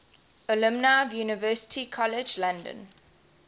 alumni of university college london